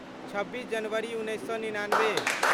छब्बीस जनवरी उन्नैस सए निनानबे